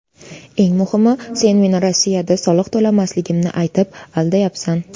Eng muhimi, sen meni Rossiyada soliq to‘lamasligimni aytib, aldayapsan.